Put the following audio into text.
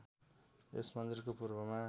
यस मन्दिरको पूर्वमा